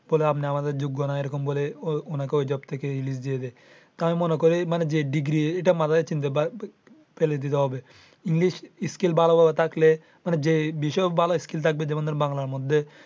বলে আপনি আমাদের যোগ্য না। এরকম বলে ওনাকে ওই job থাকে release দিয়ে দেয়। আমি মনে করি যে degree এটা মাথায় চিন্তা ফেলে দিতে হবে english skill ভালো ভাবে থাকলে মানে যে বিষয় হোক ভালো skill থাকবে। যেমন ধরেন বাংলার মধ্যে।